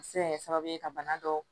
A bɛ se ka kɛ sababu ye ka bana dɔw